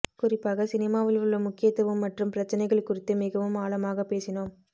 குறிப்பாக சினிமாவில் உள்ள முக்கியத்துவம் மற்றும் பிரச்சினைகள் குறித்து மிகவும் ஆழமாக பேசினோம்